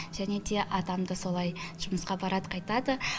және те атам да солай жұмысқа барады қайтады